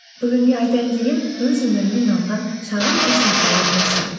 бүгінге айтайын деген өз өмірімнен алған шағын үш мысалым осы